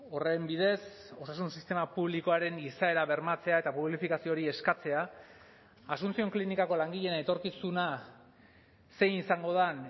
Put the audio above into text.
horren bidez osasun sistema publikoaren izaera bermatzea eta publifikazio hori eskatzea asuncion klinikako langileen etorkizuna zein izango den